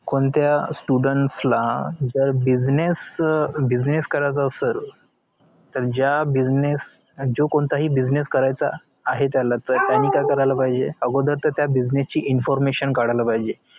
कोणत्या students ला जर business अं business करायचा असल तर ज्या business जो कोणताही business करायचा आहे त्याला तर त्याने काई करायला पाहिजे अगोदर business ची information काढायला पाहिजे